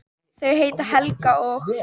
Þau heita Helga og